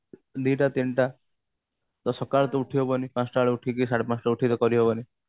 ଦିଟା ତିନିଟା ତ ସକାଳୁ ତ ଉଠି ହବନି ପାଞ୍ଚ ଟା ବେଳେ ଉଠିକି କି ସାଢେ ପାଞ୍ଚଟା ରେ ଉଠିକି କରିହବନି